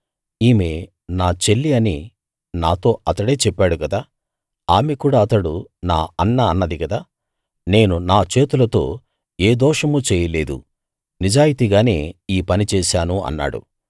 ఈమె నా చెల్లి అని నాతో అతడే చెప్పాడు కదా ఆమె కూడా అతడు నా అన్న అన్నది కదా నేను నా చేతులతో ఏ దోషమూ చేయలేదు నిజాయితీగానే ఈ పని చేశాను అన్నాడు